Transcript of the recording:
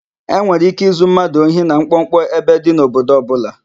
E nwere íké izu mmadụ ohi na mkpọmkpọ ebe dị n'obodo ọbụla.